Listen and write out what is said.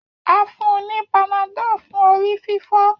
A fun u panadol fun orififo.